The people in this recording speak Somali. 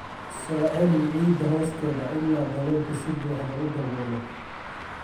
Soo celi ciidda hoosteeda ilaa daloolku si buuxda u daboolo.